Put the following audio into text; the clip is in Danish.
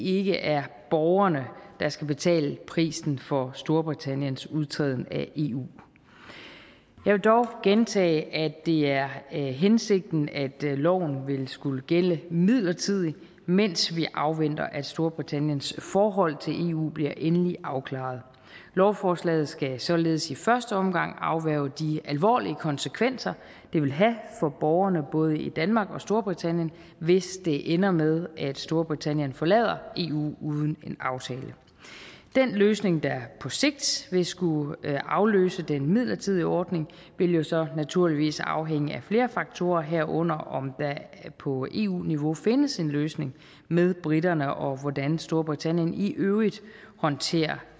ikke er borgerne der skal betale prisen for storbritanniens udtræden af eu jeg vil dog gentage at det er hensigten at loven vil skulle gælde midlertidigt mens vi afventer at storbritanniens forhold til eu bliver endelig afklaret lovforslaget skal således i første omgang afværge de alvorlige konsekvenser det vil have for borgerne både i danmark og storbritannien hvis det ender med at storbritannien forlader eu uden en aftale den løsning der på sigt vil skulle afløse den midlertidige ordning vil jo så naturligvis afhænge af flere faktorer herunder om der på eu niveau findes en løsning med briterne og hvordan storbritannien i øvrigt håndterer